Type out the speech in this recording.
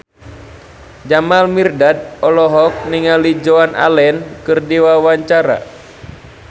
Jamal Mirdad olohok ningali Joan Allen keur diwawancara